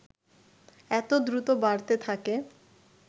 এত দ্রুত বাড়তে থাকে